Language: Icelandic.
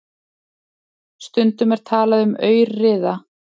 Stundum er talað um aurriða.